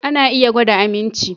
Ana iya gwada aminci